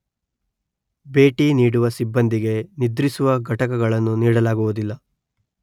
ಭೇಟಿನೀಡುವ ಸಿಬ್ಬಂದಿಗೆ ನಿದ್ರಿಸುವ ಘಟಕಗಳನ್ನು ನೀಡಲಾಗುವುದಿಲ್ಲ